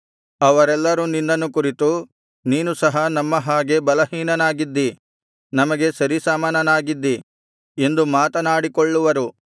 ಅವರೆಲ್ಲರು ನಿನ್ನನ್ನು ಕುರಿತು ನೀನು ಸಹ ನಮ್ಮ ಹಾಗೆ ಬಲಹೀನನಾಗಿದ್ದೀ ನಮಗೆ ಸರಿಸಮಾನನಾಗಿದ್ದೀ ಎಂದು ಮಾತನಾಡಿಕೊಳ್ಳುವರು